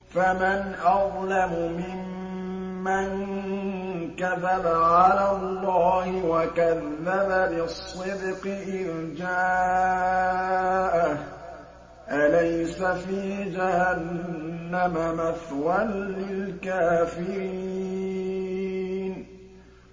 ۞ فَمَنْ أَظْلَمُ مِمَّن كَذَبَ عَلَى اللَّهِ وَكَذَّبَ بِالصِّدْقِ إِذْ جَاءَهُ ۚ أَلَيْسَ فِي جَهَنَّمَ مَثْوًى لِّلْكَافِرِينَ